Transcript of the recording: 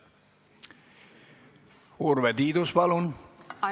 Urve Tiidus, palun!